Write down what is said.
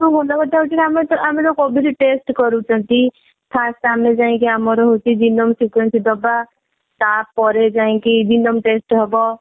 ଆଉ ସବୁଠୁ ଭଲ କଥା ହେଉଚି ଯେ ଆମର ଅମେ ଯୋଊ covid test କରୁଛନ୍ତି first ଆମେ ଯାଇକି ଆମର jingoism sequence ଦବା ତାପରେ ଯାଇକି jingoism test ହେବ